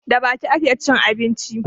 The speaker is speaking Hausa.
Da baki ake cin abinci